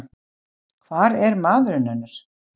Hvar er maðurinn hennar?